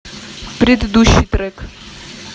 предыдущий трек